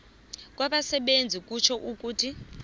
kwabasebenzi kutjho ukuthi